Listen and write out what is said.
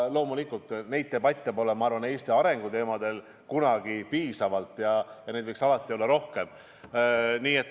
Loomulikult debatte Eesti arengu teemadel pole kunagi piisavalt, neid võiks minu arvates alati olla rohkem.